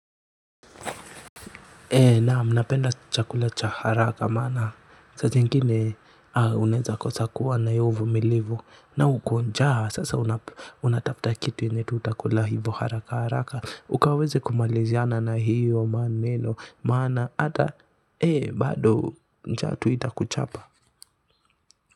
Ee naam napenda chakula cha haraka maana saa zingine unaeza kosa kuwa na iyo uvumilivu na uko njaa sasa unatafta kitu yenye tu utakula hivo haraka haraka ukaweze kumaliziana na hiyo maneno maana ata eh bado ntatuita kuchapa.